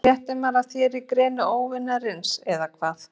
Svo fréttir maður af þér í greni óvinarins- og hvað?